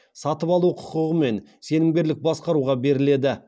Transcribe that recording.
сатып алу құқығымен сенімгерлік басқаруға беріледі